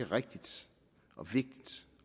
rigtigt og vigtigt